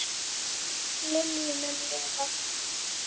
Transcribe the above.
Minning Lilju mun lifa.